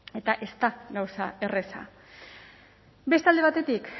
eta ez da gauza erraza beste alde batetik